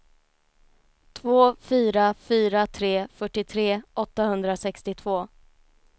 två fyra fyra tre fyrtiotre åttahundrasextiotvå